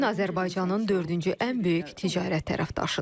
Çin Azərbaycanın dördüncü ən böyük ticarət tərəfdaşıdır.